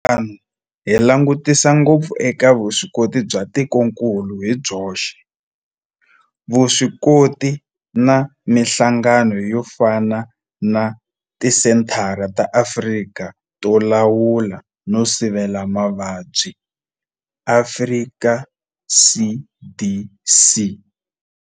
Hi ku endla tano hi langutisa ngopfu eka vuswikoti bya tikokulu hi byoxe, vuswikoti na mihlangano yo fana na Tisenthara ta Afrika to Lawula no Sivela Mavabyi, Afrika CDC.